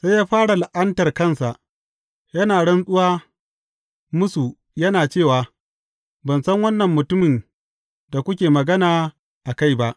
Sai ya fara la’antar kansa, yana rantsuwa musu, yana cewa, Ban san wannan mutumin da kuke magana a kai ba.